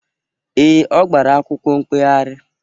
Ee, ọ gbara akwụkwọ mkpegharị